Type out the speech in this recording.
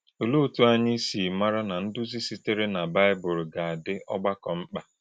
Olè̄e òtú̄ ànyị̄ sị̄ màrà̄ na ndúzì̄ sị̄tèrè̄ n’Báị́bùl gà - àdì̄ ọ̀gbàkọ̄ mkpa?